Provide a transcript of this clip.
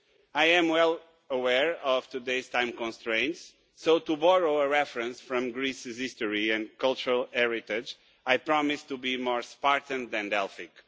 I am well aware of today's time constraints, so to borrow a reference from Greece's history and cultural heritage, I promise to be more Spartan than Delphic.